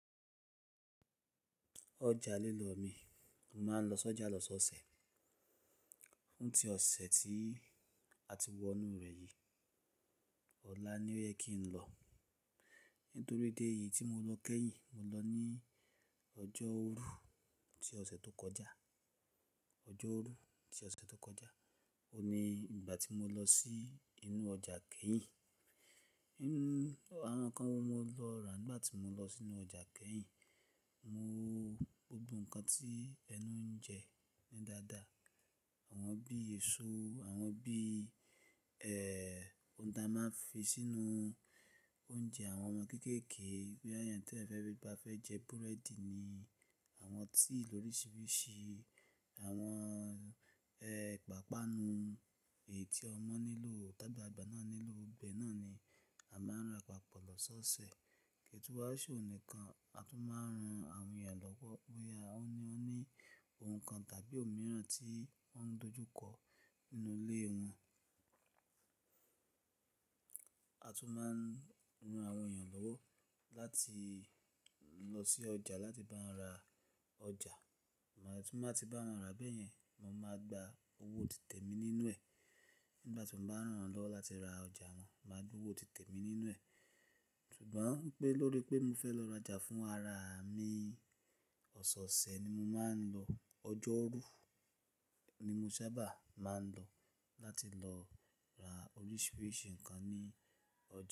Ọjà lílọ mi, mo máa ń lọ sójà lọ́sọ̀ọ̀sẹ̀. Fún tí ọ̀sẹ̀ tí a ti wọ inú rẹ̀ yìí ọ̀la ni ó yẹ kí n lọ. Nítorí dé yìí tí mo lọ kẹ́yìn, mo lọ ní ọjọ́rú tí ọ̀sẹ̀ tó kọjá. Ọjọ́rú tí ọ̀sẹ̀ tó kọjá, òun ni ìgbà tí mo lọ sí inú ọjà kẹ́yìn. Inú, awánkàn wo mo lọ rà nígbà tí mo lọ sínú ọjà kẹ́yìn? Mo wo gbogbo nǹkan tí ẹnu ń jẹ ní dada. Àwọn bí èso, àwọn bí, ẹ́ẹ́, ohun tí a máa ń fi sínú oúnjẹ àwọn ọmọ kéékèèké, bóyá ènìyàn tí ẹ̀fẹ̀ rí ba fẹ́ jẹ búrẹ́dì ni, àwọn tíì lóríṣiríṣi, àwọn, ẹ́ẹ́, pàpanu èyí tí ọmọ nílò, tàbí àgbàlagbà náà nílò bẹ́ẹ̀ náà ni a máa ń ránpàpọ̀ lọ́sọ̀ọ̀sẹ̀. Kétú àṣọ nìkan, a tún máa ń ran àwọn ènìyàn lọ́wọ́, bóyá ó ní, ó ní ohun kan tàbí òmíràn tí wọ́n ń dojú kọ nínú ilé wọn. A tún máa ń ran àwọn ènìyàn lọ́wọ́ láti lọ sí ọjà láti bá wọn ra ọjà. Mo ní tí mo bá ti bá wọn ra bẹ́ẹ̀ yẹn, mo máa gba owó òtítẹ̀ mi nínú ẹ̀. Nígbà tí mo bá ń rán wọn lọ́wọ́ láti ra ọjà wọn, máa gba owó òtítẹ̀ mi nínú ẹ̀. Ṣùgbọ́n pé lórí pé mo fẹ́ lọ raja fún ara mi, ọ̀sẹ̀ọ̀sẹ̀ ni mo máa ń lọ. Ọjọ́rú ni mo sábà máa ń lọ láti lọ ra oríṣiríṣi nǹkan ní ọjà.